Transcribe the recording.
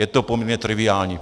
Je to poměrně triviální.